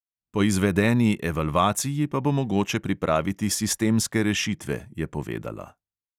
Po izvedeni evalvaciji pa bo mogoče pripraviti sistemske rešitve, je povedala.